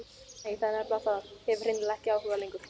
Nei, það er nefnilega það, hef hreinlega ekki áhuga lengur.